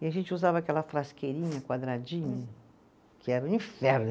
E a gente usava aquela frasqueirinha quadradinha, que era um inferno.